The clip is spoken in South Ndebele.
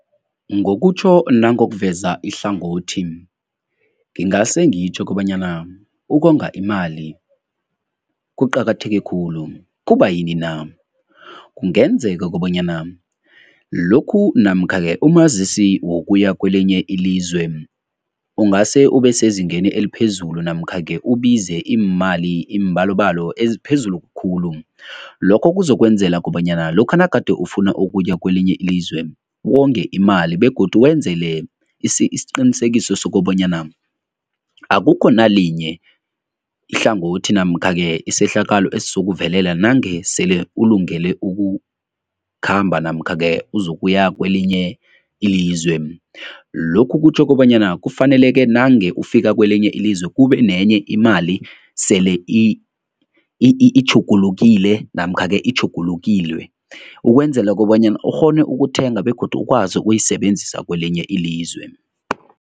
Ngokutjho nangokuveza ihlangothi, ngingase ngitjho kobanyana ukonga imali kuqakatheke khulu. Kubayini na? Kungenzeka kobanyana lokhu namkha-ke umazisi wokuya kwelinye ilizwe, ungase ube sezingeni eliphezulu namkha-ke ubize iimali, iimbalobalo eziphezulu khulu. Lokho kuzokwenzela kobanyana lokha nagade ufuna ukuya kwelinye ilizwe, wonge imali begodu wenzele isiqinisekiso sokobanyana akukho nalinye ihlangothi namkha-ke isehlakalo esizokuvuleka nange sele ulungele ukukhamba namkha-ke uzokuya kwelinye ilizwe. Lokhu kutjho kobanyana kufanele ke nange ufika kwelinye ilizwe kube nenye imali sele itjhugulukile namkha-ke itjhugulukilwe ukwenzela kobanyana ukghone ukuthenga begodu ukwazi ukuyisebenzisa kwelinye ilizwe.